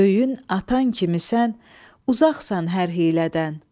Öyün atan kimisən, uzaqsan hər hiylədən.